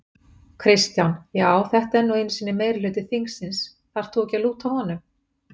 Kristján: Já þetta er nú einu sinni meirihluti þingsins, þarft þú ekki að lúta honum?